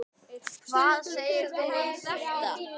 Hvað segir þú um þetta?